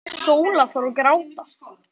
Sóla fór að gráta.